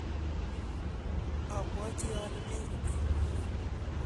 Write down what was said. abwoti ale mekukiy